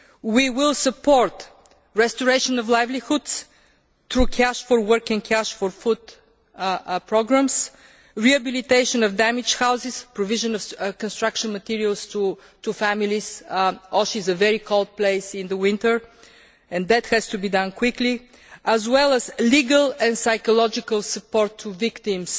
We will support the restoration of livelihoods through cash for work and cash for food programmes, the rehabilitation of damaged houses and the provision of construction materials to families Osh is a very cold place in the winter and that has to be done quickly as well as legal and psychological support to victims.